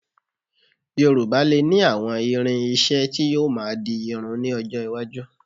Yorùbá lè ní àwọn irin-iṣẹ́ tí yóò máa di irun ní ọjọ́ iwájú